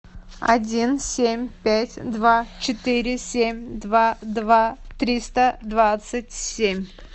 один семь пять два четыре семь два два триста двадцать семь